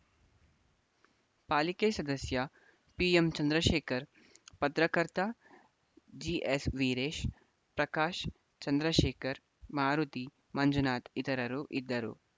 ಪಾಲಿಕೆ ಸದಸ್ಯ ಪಿಎಂ ಚಂದ್ರಶೇಖರ ಪತ್ರಕರ್ತ ಜಿ ಎಸ್‌ವೀರೇಶ ಪ್ರಕಾಶ ಚಂದ್ರಶೇಖರ ಮಾರುತಿ ಮಂಜುನಾಥ ಇತರರು ಇದ್ದರು